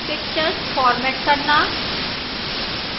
pictures format करना